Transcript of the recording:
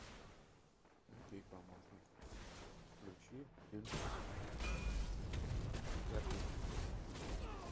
окей помощник включи фильм пятый элемент